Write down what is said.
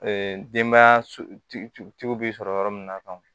denbayatigiw bɛ sɔrɔ yɔrɔ min na